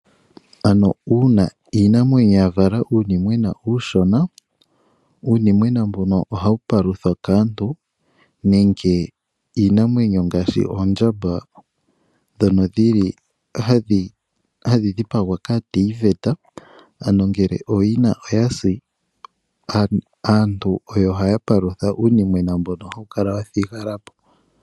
Ano uuna iinamwenyo ya vala uunimwena uushona, uunimwena mbono ohawu paluthwa kaantu nenge iinamwenyo ngaashi oondjamba ndhono dhi li hadhi dhipagwa kaateyiveta, ano ngele ooyina oya si aantu oyo haa palutha uunimwena mbono hawu kala wa thigwa po.